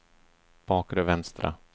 bakre vänstra